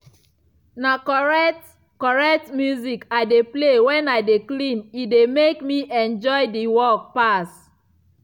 na correct - correct music i dey play wen i dey clean e dey mek me enjoy de work pass.